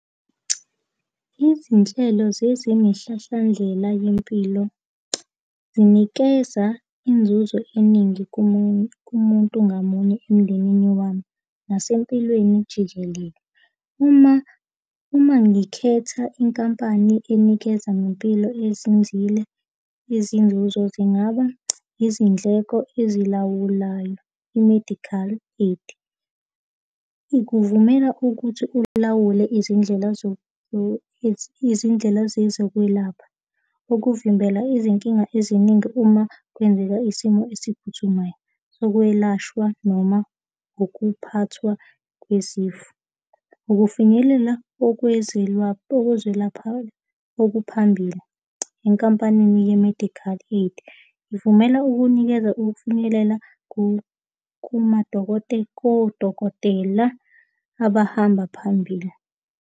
Izinhlelo zezemihlahlandlela yempilo zinikeza inzuzo eningi komunye kumuntu ngamunye emndenini wami nasempilweni jikelele. Uma, uma ngikhetha inkampani enikeza ngempilo ezinzile izinzuzo zingaba izindleko ezilawulayo, i-medical aid, ikuvumela ukuthi ulawule izindlela izindlela zezokwelapha, ukuvimbela izinkinga eziningi uma kwenzeka isimo esiphuthumayo sokwelashwa noma ukuphathwa kwezifo. Ukufinyelela okwezilapha okuphambili enkampanini ye-medical aid ivumela ukunikeza ukufinyelela kodokotela abahamba phambili.